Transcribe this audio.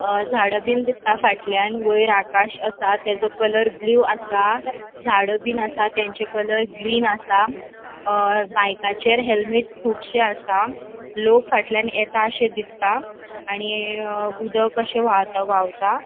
अ झाडाबिन दिसता फाटल्यान वयर आकाश आसा तेचो कलर ब्लू आसा झाडबिन आसा तचे कलर ग्रीन आसा अ बायकाचेर हेल्मेट्स कुबशे आसा लोक फाटल्यान येताशे दिसता आणि उदक अशे व्हाव व्हावता.